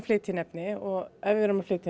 flytja inn efni og ef við erum að flytja